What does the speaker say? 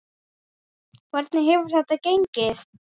Hvernig hefur þetta gengið?